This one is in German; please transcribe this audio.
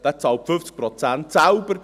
Er zahlt 50 Prozent selbst.